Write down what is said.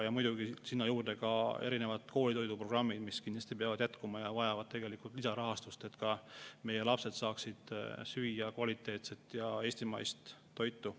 Ja muidugi sinna juurde ka erinevad koolitoiduprogrammid, mis kindlasti peavad jätkuma ja vajavad lisarahastust, et meie lapsed saaksid süüa kvaliteetset eestimaist toitu.